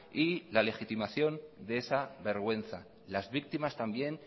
y la legitimación de esa vergüenza las víctimas también